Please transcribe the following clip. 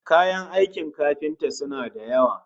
Kayan aikin kafinta suna da yawa